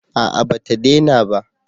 A'a ba ta dena ba